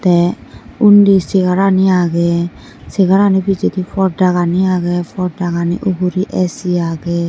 teh undi segar ani ageh segarani pijedi porda gani ageh pordagani ugury A_C ageh.